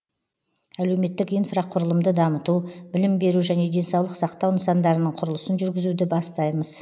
әлеуметтік инфрақұрылымды дамыту білім беру және денсаулық сақтау нысандарының құрылысын жүргізуді бастаймыз